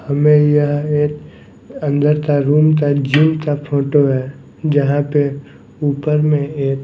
हमें यह एक अंदर का रूम का जीम का फोटो है जहाँ पे ऊपर में एक--